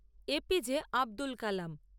A P J Abdul Kalam